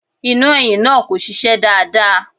Iná ẹ̀yìn náà kò ṣiṣẹ́ dáadáa.